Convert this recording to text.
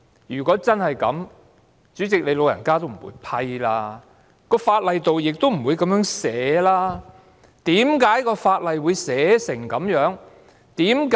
如果真是這樣，主席，你"老人家"也不會批准我提出議案，而法例亦不會這樣寫。